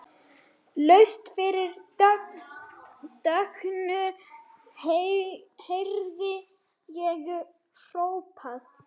Laust fyrir dögun heyrði ég hrópað.